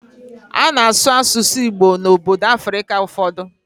Ana asụ asụsụ Igbo na obodo Africa ụfọdụ